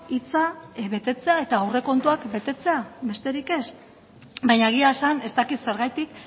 hitza betetzea eta aurrekontuak betetzea besterik ez baina egia esan ez dakit zergatik